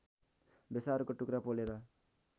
बेसारको टुक्रा पोलेर